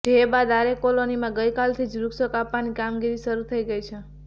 જે બાદ આરે કોલોનીમાં ગઇકાલથી જ વૃક્ષો કાપવાની કામગીરી શરૂ થઇ ગઇ છે